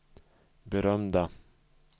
berömda